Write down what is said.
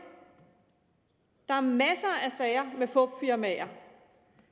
der er masser af sager med fupfirmaer